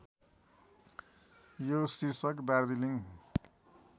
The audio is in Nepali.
यो शीर्षक दार्जीलिङ